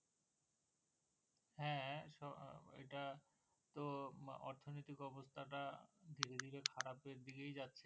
ওইটা তো অর্থনিতিক অবস্থাটা ধীরে ধীরে খারাপ এর দিকে যাচ্ছে,